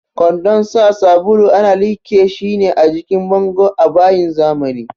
Kwandon sa sabulu ana liƙe shi ne a jikin bango a bayin zamani.